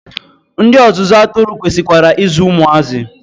Ndị ọzụzụ atụrụ kwesikwara I zụ ụmụazị.